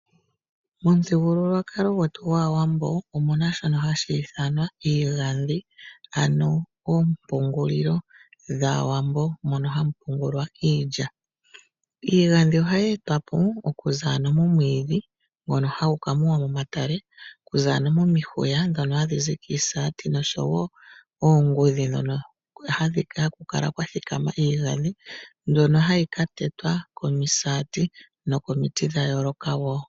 Momuthigululwakalo gwetu gwaawambo omuna shono hashi ithanwa iigandhi ano oompungulilo dhaawambo, mono hamu pungulwa iilya. Iigandhi ohayi etwa po okuza ano momwiidhi ngono hagu ka muwa mo matalale. Okuza ano mo mihuya dhono hadhizi komisati nosho wo oongudhi dhono haku kala kwa thikama iigandhi, dhono hadhi ka tetwa komisati nokomiti dha yooloka wo.